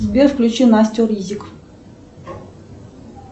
сбер включи настю ризик